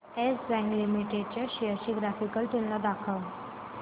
yes Bank Limited च्या shares ची graphical तुलना दाखव